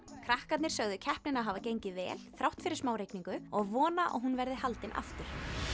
krakkarnir sögðu keppnina hafa gengið vel þrátt fyrir smá rigningu og vona að hún verði haldin aftur